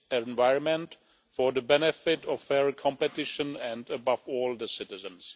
environment for the benefit of fairer competition and, above all, the citizens.